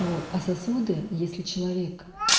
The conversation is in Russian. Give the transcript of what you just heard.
вот а сосуды если человек